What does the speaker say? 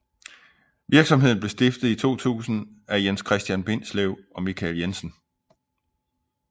Virksomheden blev stiftet i 2000 af Jens Christian Bindslev og Michael Jensen